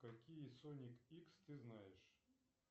какие соник икс ты знаешь